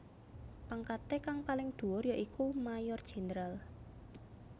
Pangkaté kang paling dhuwur ya iku Mayor Jenderal